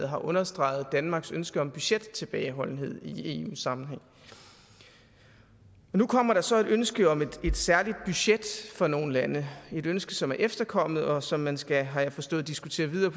har understreget danmarks ønske om budgettilbageholdenhed i eu sammenhæng nu kommer der så et ønske om et særligt budget for nogle lande et ønske som er efterkommet og som man skal har jeg forstået diskutere videre